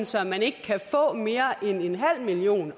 så man ikke kan få mere end en halv million